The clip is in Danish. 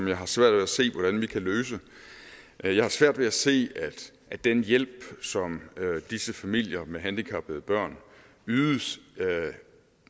jeg har svært ved at se hvordan vi kan løse jeg har svært ved at se at den hjælp som disse familier med handicappede børn ydes